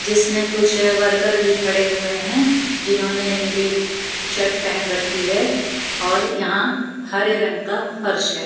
जिसमें कुछ वर्कर भी खड़े हुए हैं जिन्होंने नीली शर्ट पेहन रखी है और यहां हरे रंग का फर्श है।